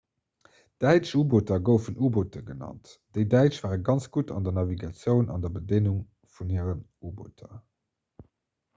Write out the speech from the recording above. däitsch u‑booter goufen 'u‑boote' genannt. déi däitsch ware ganz gutt an der navigatioun an der bedéngung vun hiren u‑booter